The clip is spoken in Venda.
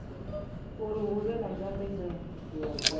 uri hu vhe na nyambedzano